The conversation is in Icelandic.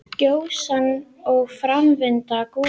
Gjóskan og framvinda gossins.